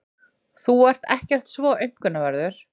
Þú ert ekkert svo aumkunarverður.